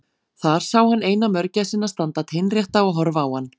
Þar sá hann eina mörgæsina standa teinrétta og horfa á hann.